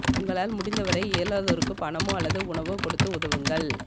உங்களால் முடிந்த வரை இயலாதோருக்கு பணமோ அல்லது உணவோ கொடுத்து உதவுங்கள்